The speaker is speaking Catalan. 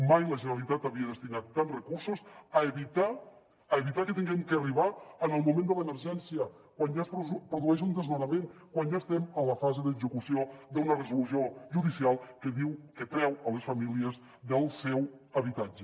mai la generalitat havia destinat tants recursos a evitar a evitar que haguem d’arribar en el moment de l’emergència quan ja es produeix un desnonament quan ja estem a la fase d’execució d’una resolució judicial que diu que treu les famílies del seu habitatge